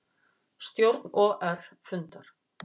Stjórn OR fundar